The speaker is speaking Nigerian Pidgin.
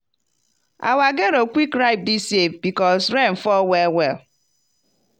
our gero quick ripe dis year because rain fall well well.